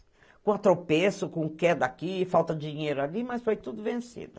Com atropesso, com queda aqui, falta de dinheiro ali, mas foi tudo vencido.